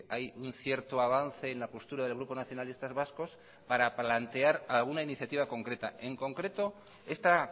hay un cierto avance en la postura del grupo nacionalistas vascos para plantear a una iniciativa concreta en concreto esta